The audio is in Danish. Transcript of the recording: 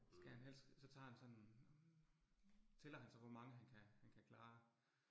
Skal han helst, så tager han sådan. Tæller han så, hvor mange, han kan han kan klare